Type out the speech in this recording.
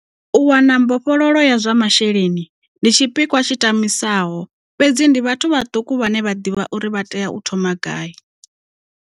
U wana mbofholowo ya zwa masheleni ndi tshipikwa tshi tamisaho fhedzi ndi vhathu vhaṱuku vhane vha ḓivha uri vha tea u thoma gai.